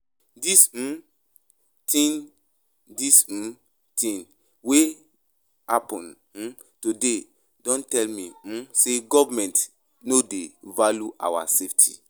Dis um tin Dis um tin wey happen um today don tell me um sey government no dey value our safety.